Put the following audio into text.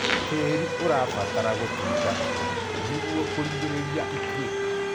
tĩĩri ũrabatara gũtungatwo nĩguo kugiririria itwika